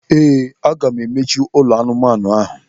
Ee, aga m emechi ụlọ anụmanụ ahụ.